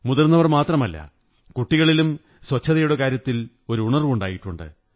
മുതിര്ന്നീവരിൽ മാത്രമല്ല കുട്ടികളിലും സ്വച്ഛതയുടെ കാര്യത്തിൽ ഉണര്വ്വു ണ്ടായിട്ടുണ്ട്